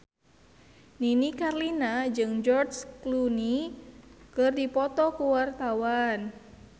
Nini Carlina jeung George Clooney keur dipoto ku wartawan